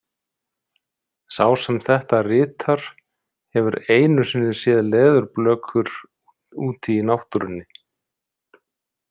Sá sem þetta ritar hefur einu sinni séð leðurblökur úti í náttúrunni.